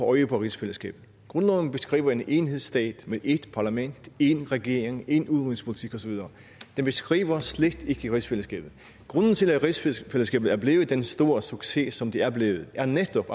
øje på rigsfællesskabet grundloven beskriver en enhedsstat med ét parlament én regering én udenrigspolitik og så videre den beskriver slet ikke rigsfællesskabet grunden til at rigsfællesskabet er blevet den store succes som det er blevet er netop